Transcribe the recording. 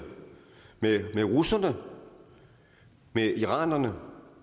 med russerne med iranerne